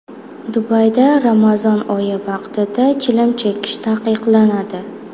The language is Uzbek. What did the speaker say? Dubayda Ramazon oyi vaqtida chilim chekish taqiqlanadi.